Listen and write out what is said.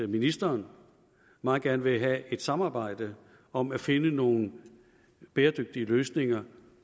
ministeren meget gerne vil have et samarbejde om at finde nogle bæredygtige løsninger